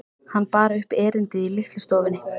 Hann bar upp erindið í litlu stofunni.